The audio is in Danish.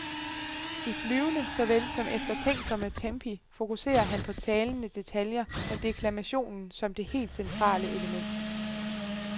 I flyvende såvel som eftertænksomme tempi fokuserer han på talende detaljer med deklamationen som det helt centrale element.